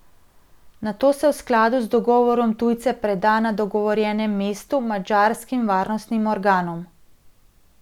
Nato se v skladu z dogovorom tujce preda na dogovorjenem mestu madžarskim varnostnim organom.